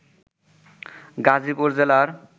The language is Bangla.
গাজীপুর জেলার